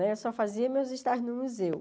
Né eu só fazia meus estágios no museu.